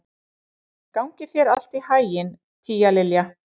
Gangi þér allt í haginn, Tíalilja.